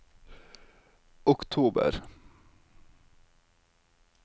oktober